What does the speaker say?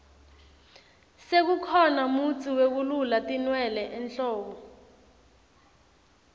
sekukhona mutsi wekulula tinwele enhloko